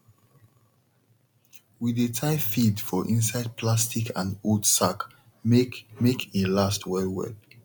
we dey tie feed for inside plastic and old sack make make e last well well